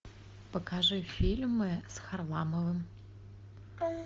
покажи фильмы с харламовым